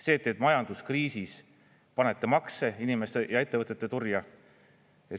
See, et majanduskriisis panete makse inimeste ja ettevõtete turja.